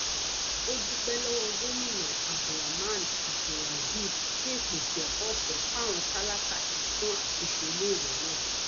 ó dúpẹ lọwọ gomina abdulrahman abdulrazib fún ìpèsè ẹkọ ọfẹ fáwọn tálákà àti fún àtúnṣe iléèwé náà